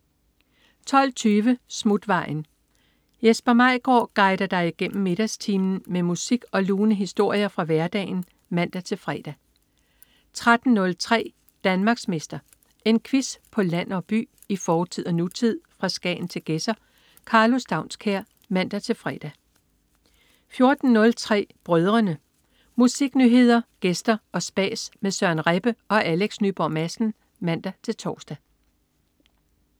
12.20 Smutvejen. Jesper Maigaard guider dig igennem middagstimen med musik og lune historier fra hverdagen (man-fre) 13.03 Danmarksmester. En quiz på land og by, i fortid og nutid, fra Skagen til Gedser. Karlo Staunskær (man-fre) 14.03 Brødrene. Musiknyheder, gæster og spas med Søren Rebbe og Alex Nyborg Madsen (man-tors)